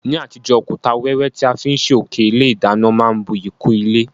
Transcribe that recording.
Ní àtijó, òkúta wẹ́wẹ́ ti a fi n sé òké ilé ìdánán má n bu iyì kún ilé